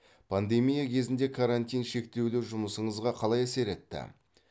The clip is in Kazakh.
пандемия кезінде карантин шектеулі жұмысыңызға қалай әсер етті